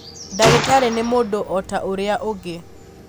ndagĩtarĩ nĩ mũndũ o ta ũrĩa ũngĩ.